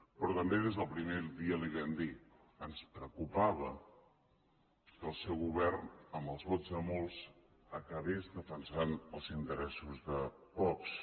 però també des del primer dia li ho vam dir ens preocupava que el seu govern amb els vots de molts acabés defensant els interessos de pocs